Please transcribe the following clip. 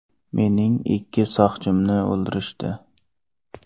Mening ikki soqchimni o‘ldirishdi.